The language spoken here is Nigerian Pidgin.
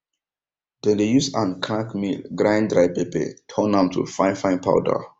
dem dey use hand crank mill grind dry pepper turn am to fine fine powder